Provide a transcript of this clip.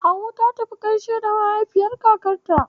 Hauwa ta tafi gaishe da mahaifin kakanta.